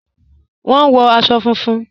Wọ́n wọ̀ àṣọ fúnfún.